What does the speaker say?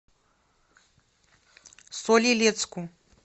соль илецку